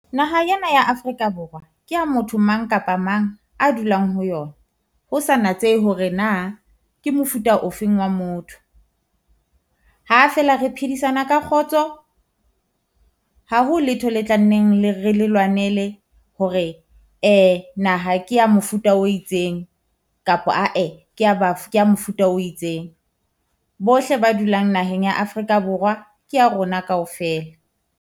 Naha ena ya Africa borwa kea motho mang kapa mang a dulang ho yona, ho sa natsehe hore na ke mofuta ofeng wa motho. Ha feela re phedisana ka kgotso, ha ho letho le tla nneng le re le lwanele hore naha ke ya mofuta o itseng, kapa ah-eh kea kea mofuta o itseng. Bohle ba dulang naheng ya Afrika Borwa ke ya rona kaofela.